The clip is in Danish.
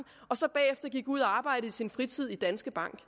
og så bagefter gik ud og arbejdede i sin fritid i danske bank